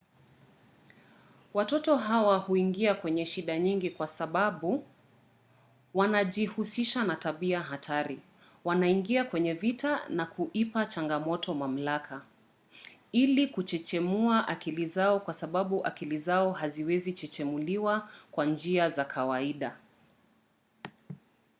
watoto hawa huingia kwenye shida nyingi kwa sababu wanajihusisha na tabia hatari wanaingia kwenye vita na kuipa changamoto mamlaka” ili kuchechemua akili zao kwa sababu akili zao haziwezi kuchechemuliwa kwa njia za kawaida